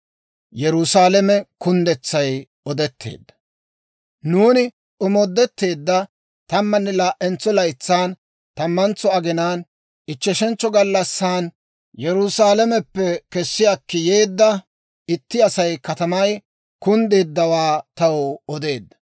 Nuuni omoodettiide tammanne laa"entso laytsan, tammantso aginaan, ichcheshentso gallassan, Yerusaalameppe kessi akki yeedda itti Asay katamay kunddeeddawaa taw odeedda.